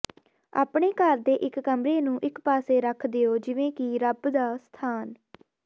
ਆਪਣੇ ਘਰ ਦੇ ਇਕ ਕਮਰੇ ਨੂੰ ਇਕ ਪਾਸੇ ਰੱਖ ਦਿਓ ਜਿਵੇਂ ਕਿ ਰੱਬ ਦਾ ਸਥਾਨ